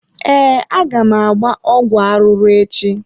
Ee, aga m agba ọgwụ arụrụ echi.